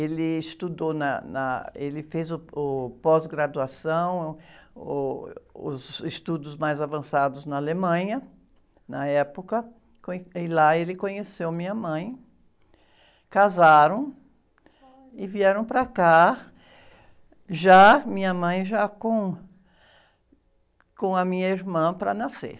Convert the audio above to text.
Ele estudou, na, na, ele fez uh, o, pós-graduação, uh, os estudos mais avançados na Alemanha, na época, e lá ele conheceu minha mãe, casaram e vieram para cá, já, minha mãe já com, com a minha irmã para nascer.